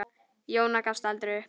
Jóna gafst aldrei upp.